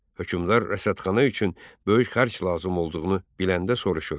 Hökmdar rəsədxana üçün böyük xərc lazım olduğunu biləndə soruşur: